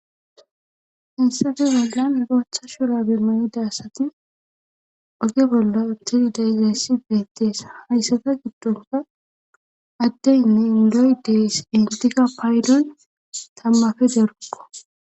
Haysappe bollan ilocha shura bemayida asati oge bolla tidi da igassi beettees hayssata giddonka addeynne indoy deys intiga paydon tammafe derukko